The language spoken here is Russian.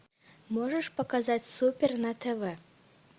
можешь показать супер на тв